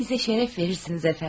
Bizə şərəf verərsiz, əfəndim.